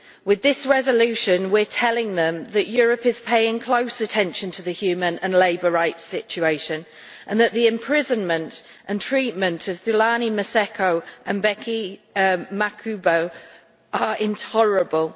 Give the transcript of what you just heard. With this resolution we are telling them that Europe is paying close attention to the human and labour rights situation and that the imprisonment and treatment of Thulani Maseko and Bheki Makhubu are intolerable.